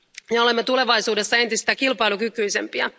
Me olemme tulevaisuudessa entistä kilpailukykyisempiä.